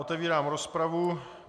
Otevírám rozpravu.